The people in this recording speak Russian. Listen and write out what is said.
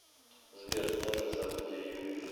сбер главное событие юрьев